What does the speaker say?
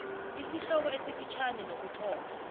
isihloko esifitjhani nokuthoma